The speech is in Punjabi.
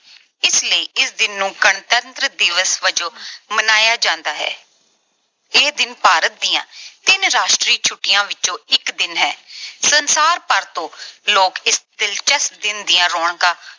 ਇਸ ਲਈ ਇਸ ਦਿਨ ਨੂੰ ਗਣਤੰਤਰ ਦਿਵਸ ਵਜੋਂ ਮਨਾਇਆ ਜਾਂਦਾ ਹੈ। ਇਹ ਦਿਨ ਭਾਰਤ ਦੀਆਂ ਤਿੰਨ ਰਾਸ਼ਟਰੀ ਛੁੱਟੀਆਂ ਵਿੱਚੋਂ ਇੱਕ ਦਿਨ ਹੈ। ਸੰਸਾਰ ਭਰ ਤੋਂ ਲੋਕ ਇਸ ਦਿਲਚਸਪ ਦਿਨ ਦੀਆਂ ਰੌਣਕਾਂ